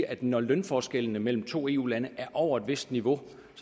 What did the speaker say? at når lønforskellene mellem to eu lande er over et vist niveau